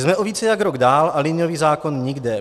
Jsme o více jak rok dál a liniový zákon nikde.